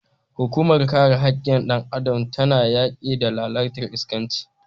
Hukumar kare hakkin dan Adam na yaki da lalatar iskanci.